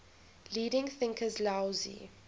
leading thinkers laozi